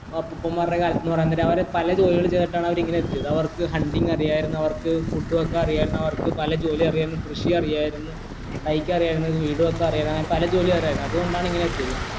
വാ ഉപ്പൂപ്പന്മാരുടെ കാലത്ത്ന്ന് പറീമ്പോ അവര് പല ജോലികൾ ചെയ്തിട്ടാണ് അവരിവിടെ എത്തിയത് അവർക്ക് hunting അറിയായിരുന്നു അവർക്ക് food വെക്കാൻ അറിയായിരുന്നു അവർക്ക് പല ജോലി അറിയായിരുന്നു കൃഷി അറിയായിരുന്നു അറിയായിരുന്നു വീട് വെക്കാൻ അറിയായിരുന്നു അങ്ങനെ പല ജോലി അറിയായിരുന്നു അതുകൊണ്ടാണ് ഇങ്ങനെ എത്തിയത്